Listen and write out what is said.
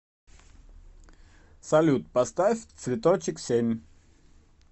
салют поставь цветочек семь